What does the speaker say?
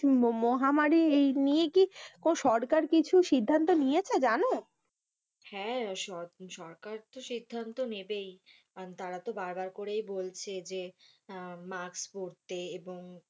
মো~মহামারী নিয়ে কি কো সরকার কিছু সিদ্ধান্ত নিয়েছে জানো? হ্যাঁ, সর~সরকার তো সিদ্ধান্ত নেবেই কারণ তারা তো বারবার করেই বলছে যে আহ! মাস্ক পরতে এবং,